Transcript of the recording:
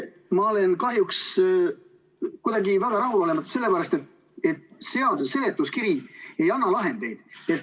Ma olen kahjuks kuidagi väga rahulolematu selle pärast, et selle seaduseelnõu seletuskiri ei anna lahendeid.